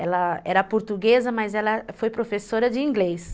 Ela era portuguesa, mas ela foi professora de inglês.